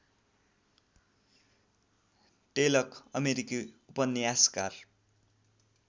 टेलक अमेरिकी उपन्यासकार